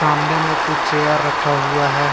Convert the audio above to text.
सामने में कुछ चेयर रखा हुआ है।